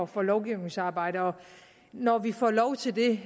for lovgivningsarbejde og når vi får lov til det